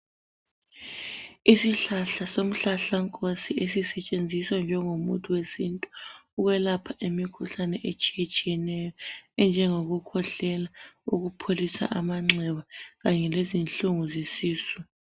Isihlahla somhlahlankosi esisetshenziswa njengomuthi wesintu ukwelapha imikhuhlane etshiyetshiyeneyo enjengokukhwehlela, ukupholisa amanxeba kanye lezinhlungu zesisu.